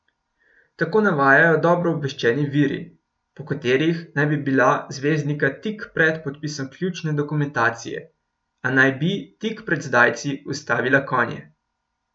Tako navajajo dobro obveščeni viri, po katerih naj bi bila zvezdnika tik pred podpisom ključne dokumentacije, a naj bi tik prek zdajci ustavila konje.